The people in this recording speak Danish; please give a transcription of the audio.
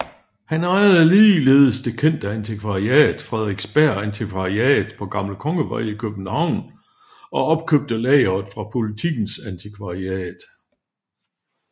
Han ejede ligeledes det kendte antikvariat Frederiksberg Antikvariat på Gammel Kongevej i København og opkøbte lageret fra Politikens Antikvariat